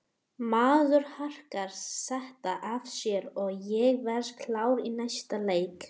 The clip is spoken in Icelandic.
Maður harkar þetta af sér og ég verð klár í næsta leik.